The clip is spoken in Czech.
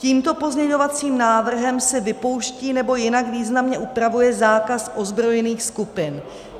Tímto pozměňovacím návrhem se vypouští nebo jinak významně upravuje zákaz ozbrojených skupin.